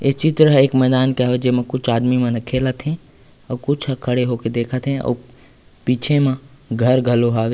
ऐ चित्र ह एक मैदान के हावय जेमा कुछ आदमी मन ह खेलत हे आउ कुछ ह खड़े होके देखत हे आउ पीछे म घर घलो हावे--